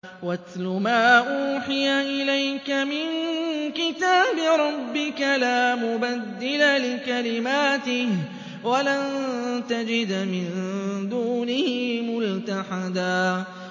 وَاتْلُ مَا أُوحِيَ إِلَيْكَ مِن كِتَابِ رَبِّكَ ۖ لَا مُبَدِّلَ لِكَلِمَاتِهِ وَلَن تَجِدَ مِن دُونِهِ مُلْتَحَدًا